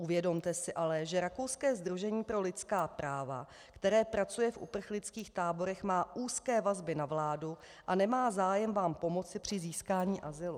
Uvědomte si ale, že rakouské Sdružení pro lidská práva, které pracuje v uprchlických táborech, má úzké vazby na vládu a nemá zájem vám pomoci při získání azylu.